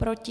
Proti?